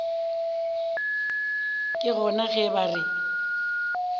ke gona ge ba re